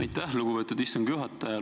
Aitäh, lugupeetud istungi juhataja!